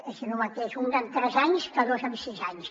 és el mateix un en tres anys que dos en sis anys